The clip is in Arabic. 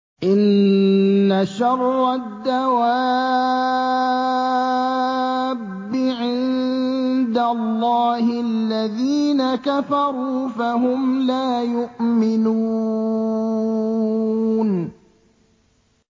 إِنَّ شَرَّ الدَّوَابِّ عِندَ اللَّهِ الَّذِينَ كَفَرُوا فَهُمْ لَا يُؤْمِنُونَ